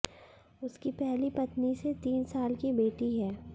उसकी पहली पत्नी से तीन साल की बेटी है